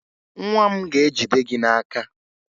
Nwa m ga-ejide gị n'aka